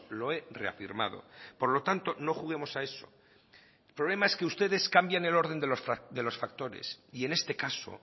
lo he reafirmado por lo tanto no juguemos a eso el problema es que ustedes cambian el orden de los factores y en este caso